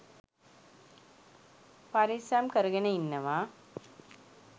පරිස්සම් කරගෙන ඉන්නවා.